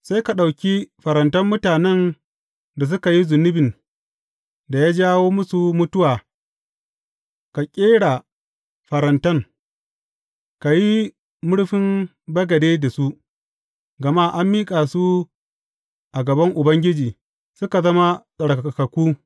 Sai ka ɗauki farantan mutanen da suka yi zunubin da ya jawo musu mutuwa ka ƙera farantan, ka yi murfin bagade da su, gama an miƙa su a gaban Ubangiji, suka zama tsarkakakku.